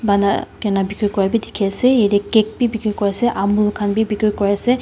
pana koina bikri koina bhi dikhi ase yate cake bhi bikri kori ase amul khan bhi bikri kure ase.